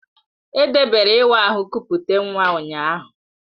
Edebere iwa aha kupute nwa ụnyaahụ.